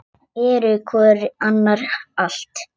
Eru hvor annarri allt.